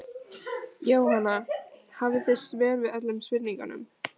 Jóhanna: Hafið þið svör við öllum spurningum?